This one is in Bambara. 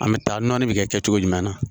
An bɛ taa nɔni bɛ kɛ cogo jumɛn na